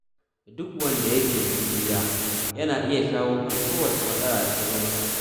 Duk wanda yake da juriya yana iya shawo kan kowace matsala da ta zo masa.